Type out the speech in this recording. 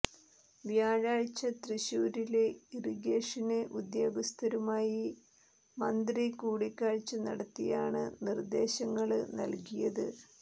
വ്യാഴാഴ്ച തൃശ്ശൂരില് ഇറിഗേഷന് ഉദ്യോഗസ്ഥരുമായി മന്ത്രി കൂടിക്കാഴ്ച നടത്തിയാണ് നിര്ദേശങ്ങള് നല്കിയത്